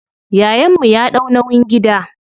Yayan mu ya ɗau nauyin gida.